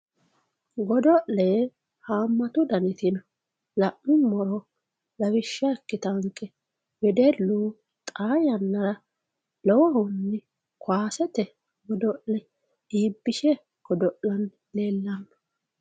godo'le haammatu daniti no la'nummoro lawishsha ikkitaanke wedellu xaa yannara lowohunni kaasete godo'le iibbishe godo'lanni leellanno.